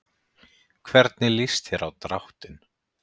Hvernig lýst þér á dráttinn?